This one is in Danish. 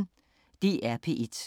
DR P1